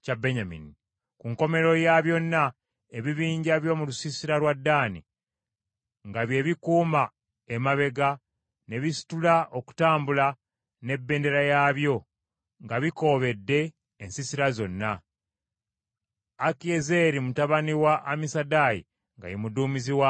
Ku nkomerero ya byonna, ebibinja by’omu lusiisira lwa Ddaani, nga bye bikuuma emabega, ne bisitula okutambula n’ebendera yaabyo nga bikoobedde ensiisira zonna; Akiyezeeri mutabani wa Amisadaayi nga ye muduumizi waabyo.